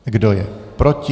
Kdo je proti?